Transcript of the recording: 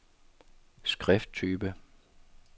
skrifttype